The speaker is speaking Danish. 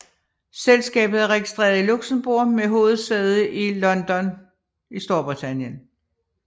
Selskabet er registret i Luxembourg med hovedsæde i London i Storbritannien